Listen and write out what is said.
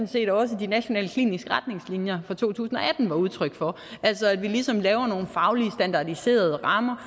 set også de nationale kliniske retningslinjer for to tusind og atten var udtryk for altså at vi ligesom laver nogle faglige standardiserede rammer